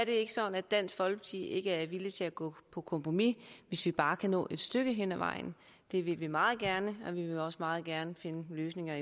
ikke sådan at dansk folkeparti ikke er villige til at gå på kompromis hvis vi bare kan nå et stykke ad vejen det vil vi meget gerne og vi vil også meget gerne finde løsninger